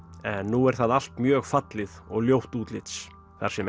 en nú er það alt mjög fallið og ljótt útlits þar sem